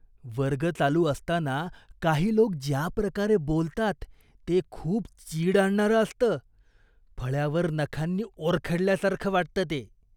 वर्ग चालू असताना काही लोक ज्या प्रकारे बोलतात ते खूप चीड आणणारं असतं, फळ्यावर नखांनी ओरखडल्यासारखं वाटतं ते.